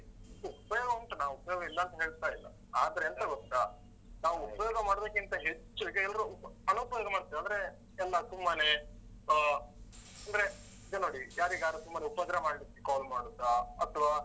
ಉಪಯೋಗ ಉಂಟು ನಾನ್ ಉಪಯೋಗ ಇಲ್ಲಾಂತ ಹೇಳ್ತಾ ಇಲ್ಲ.ಆದ್ರೆ ಎಂತ ಗೊತ್ತಾ? ನಾವ್ ಉಪಯೋಗ ಮಾಡುದಕ್ಕಿಂತ ಹೆಚ್ಚು ಈಗ ಎಲ್ರು ಉಪ ಅನುಪಯೋಗ ಮಾಡ್ತೇವೆ. ಅಂದ್ರೆ ಎಲ್ಲ ತುಂಬಾ ಸುಮ್ಮನೆ . ಅಹ್ ಅಂದ್ರೆ ಈಗ ನೋಡಿ ಯಾರಿಗಾದ್ರೂ ಸುಮ್ಮನೆ ಉಪದ್ರ ಮಾಡ್ಲಿಕ್ಕೆ call ಮಾಡುದಾ, ಅತ್ವಾ